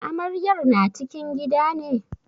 Amaryar na cikin gida ne?